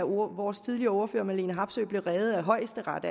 vores tidligere ordfører fru marlene harpsøe blev reddet af højesteret